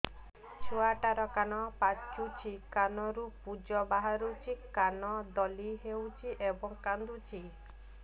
ଛୁଆ ଟା ର କାନ ପାଚୁଛି କାନରୁ ପୂଜ ବାହାରୁଛି କାନ ଦଳି ହେଉଛି ଏବଂ କାନ୍ଦୁଚି